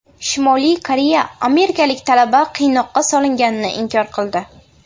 Shimoliy Koreya amerikalik talaba qiynoqqa solinganini inkor qildi.